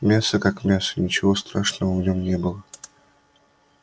мясо как мясо ничего страшного в нём не было